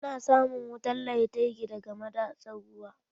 Ana samun wutar lantarki daga madatsar ruwa.